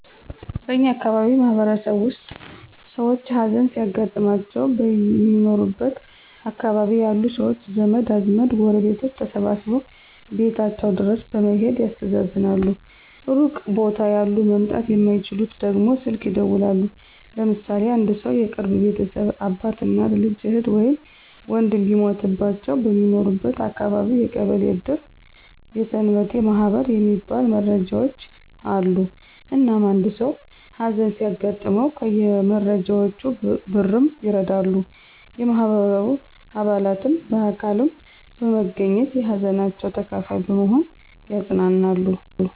በእኛ አካባቢ ማህበረሰብ ውስጥ ሰውች ሀዘን ሲያጋጥማቸው በሚኖሩበት አካባቢ ያሉ ሰውች ዘመድ አዝማድ ጎረቤቶች ተሰባስበው ቤታቸው ድረስ በመሔድ ያስተዛዝናሉ ሩቅ ቦታ ያሉ መምጣት የማይችሉት ደግሞ ስልክ ይደውላሉ። ለምሳሌ አንድ ሰው የቅርብ ቤተሰብ አባት፣ እናት፣ ልጅ፣ እህት ወይም ወንድም ቢሞትባቸው በሚኖርበት አካባቢ የቀበሌ እድር የሰንበቴ ማህበር የሚባል መረዳጃውች አሉ። እናም አንድ ሰው ሀዘን ሲያጋጥመው ከየመረዳጃውቹ በ ብርም ይረዳሉ፣ የማህበሩ አባላትም በአካልም በመገኝት የሀዘናቸው ተካፋይ በመሆን ያፅናናሉ።